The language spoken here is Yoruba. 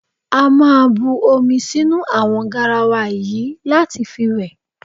A máa bu omi sínú àwo̩n garawa yìí láti fi wè̩.